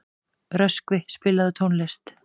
Röskvi, spilaðu tónlist.